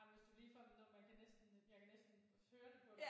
Ej men hvis det ligefrem når man kan næsten jeg kan næsten høre det på dig